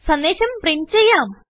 സന്ദേശം പ്രിന്റ് ചെയ്യാം